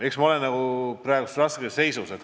Eks ma ole praegu raskes seisus.